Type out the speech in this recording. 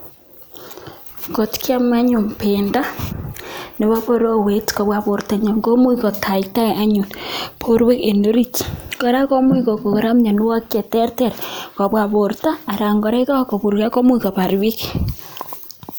Kot kiam anyun pendo nepo borowet koba borta nyon kora komuch kokon miando cheterter kobwa borta anan kora yekakobirya komuch kobar bik